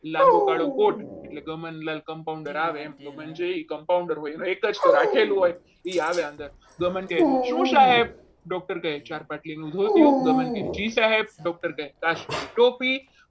લાંબો કાળોકોટ એટલે ગમનલાલ compounder આવે એમ એ compounder હોય હવે એક જ તો રાખેલું હોય એ આવે અંદર ગમન શું સાહેબ doctor કહે ચાર પાટલીનું ધોતિયું ગમન કહે જી સાહેબ doctor કહે કાશ્મીરી ટોપી